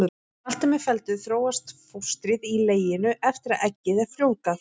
Þegar allt er með felldu þróast fóstrið í leginu eftir að eggið er frjóvgað.